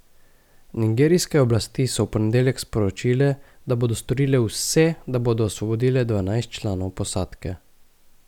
Nigerijske oblasti so v ponedeljek sporočile, da bodo storile vse, da bodo osvobodile dvanajst članov posadke.